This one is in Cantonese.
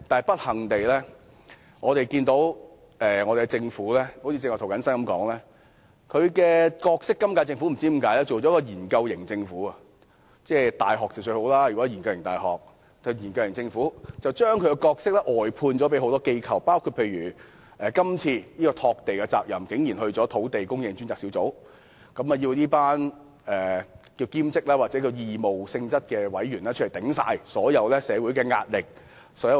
不幸地，正如涂謹申議員剛才說，今屆政府不知為何成了一個"研究型"政府——大學是"研究型"倒是很理想的——把其角色外判給很多機構，例如竟然把拓地的責任交由土地供應專責小組，要這群所謂兼職或義務性質的委員承受所有社會壓力及"擋箭"。